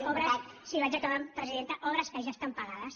obres sí vaig acabant presidenta obres que ja estan pagades